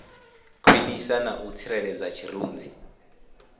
khwinisa na u tsireledza tshirunzi